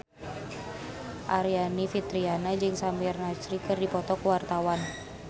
Aryani Fitriana jeung Samir Nasri keur dipoto ku wartawan